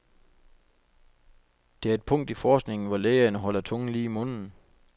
Det er et punkt i forskningen, hvor lægerne holder tungen lige i munden.